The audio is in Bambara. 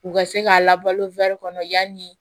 U ka se k'a labalo kɔnɔ yanni